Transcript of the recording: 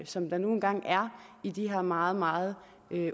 som der nu engang er i de her meget meget